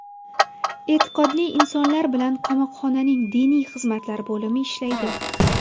E’tiqodli insonlar bilan qamoqxonaning diniy xizmatlar bo‘limi ishlaydi.